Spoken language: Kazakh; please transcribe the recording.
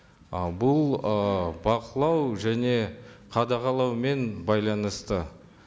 ы бұл ы бақылау және қадағалаумен байланысты